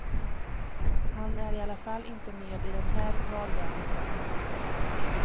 Han är i alla fall inte med i den här valröreslen.